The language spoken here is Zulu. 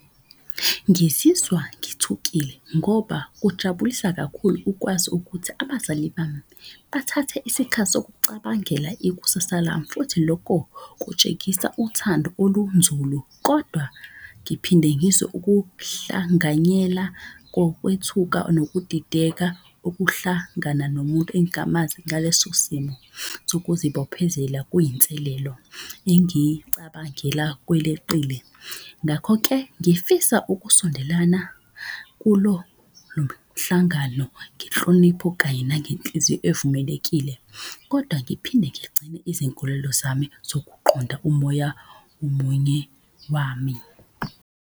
Ngizizwa ngithukile ngoba kujabulisa kakhulu ukwazi ukuthi abazali bami bathathe isikhathi sokucabangela ikusasa lami. Futhi loko kutshengisa uthando olunzulu kodwa ngiphinde ngizwe ukuhlanganyela kokwethuka nokudideka. Okuhlangana nomuntu engamazi ngaleso simo sokuzibophezela kuyinselelo, engicabangela kweleqile. Ngakho-ke ngifisa ukusondelana kulo lo mhlangano, ngenhlonipho kanye nangenhliziyo evumelekile. Kodwa ngiphinde ngigcine izinkolelo zami zokuqonda umoya omunye wami.